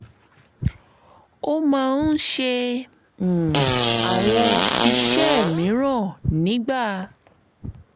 ó máa ń ṣe um àwọn um iṣẹ́ mìíràn nígbà